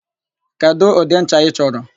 Kedụ ụdị ncha ị chọrọ?